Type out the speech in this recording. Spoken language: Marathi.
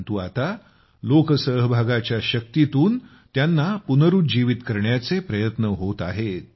परंतु आता लोकसहभागाच्या शक्तीतून त्यांना पुनरूज्जीवत करण्याचे प्रयत्न होत आहेत